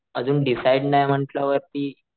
आजून डिसाइड नाही म्हंटल्या वरती,